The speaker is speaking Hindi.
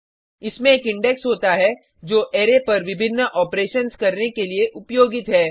इसमें एक इंडेक्स होता है जो अरै पर विभिन्न ऑपरेशन्स करने के लिए उपयोगित है